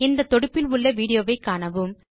இந்த தொடுப்பில் உள்ள விடியோவை காணவும்